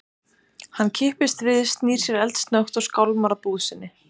Hann kippist við, snýr sér eldsnöggt og skálmar að búð sinni.